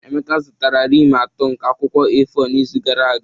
Emeka zụtara rim atọ nke akwụkwọ A4 n'izu gara aga